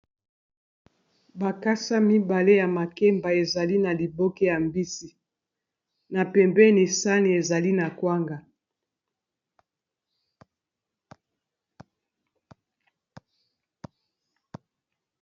Bakasa mibale ya makemba ezali na liboke ya mbisi na pembeni sani ezali na kwanga.